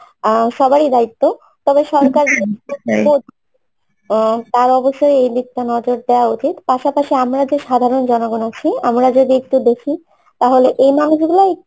আহ সবারই দায়িত্ব তবে সরকার আহ তার অবশ্য এই দিকটা নজর দেওয়া উচিত পাশাপাশি আমরা যে সাধারণ জনগণ আছি আমরা যদি একটু দেখি তাহলে এই মানুষগুলো